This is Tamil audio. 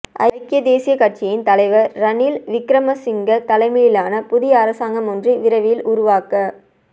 ஐக்கிய தேசிய கட்சியின் தலைவர் ரணில் விக்கிரமசிங்க தலைமையிலான புதிய அரசாங்கம் ஒன்று விரைவில் உருவாக்க